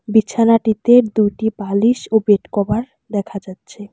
বিছানাটিতে দুটি বালিশ ও বেডকভার দেখা যাচ্ছে।